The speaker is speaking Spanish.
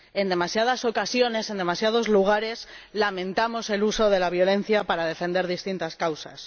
En demasiadas ocasiones, en demasiados lugares, lamentamos el uso de la violencia para defender distintas causas.